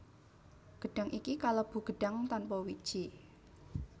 Gedhang iki kalebu gedhang tanpa wiji